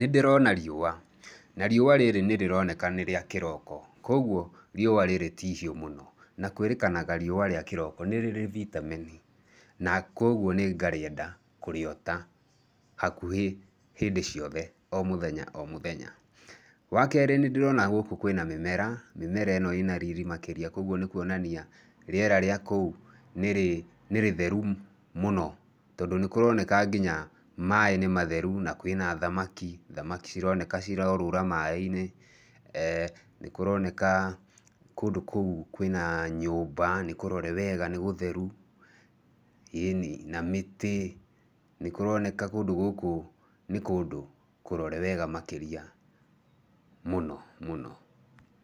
Nĩ ndĩrona riũa, na riũa rĩrĩ nĩ rĩroneka nĩ rĩa kĩroko, kwoguo riũa rĩrĩ ti ihiũ mũno na kwĩrĩkana riũa rĩa kĩroko nĩ rĩrĩ bĩtameni na kũoguo nĩ ngarĩenda kũriota hakuhĩ hĩndĩ ciothe o mũthenya o mũthenya. Wakerĩ, nĩ ndĩrona gũkũ kwĩna mĩmera. Mĩmera ĩno ĩna riri makĩria kwoguo nĩ kuonania rĩera rĩa kũu nĩ rĩtheru mũno tondũ nĩ kũroneka nginya maĩ nĩ matheru na kwĩna thamaki, thamaki cironeka cirorũra maĩ-inĩ, ee, nĩkũroneka kũndũ kũu kwĩna nyũmba, nĩ kũrore wega, nĩ gũtheru, ĩni, na mĩtĩ. Nĩkũroneka nĩ kũndũ kũrore wega makĩria mũno mũno.